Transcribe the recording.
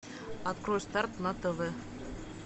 открой старт на тв